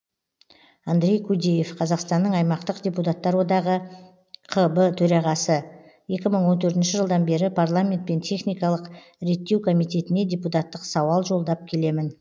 андрей кудеев қазақстанның аймақтық депутаттар одағы қб төрағасы екі мың он төртінші жылдан бері парламент пен техникалық реттеу комитетіне депутаттық сауал жолдап келемін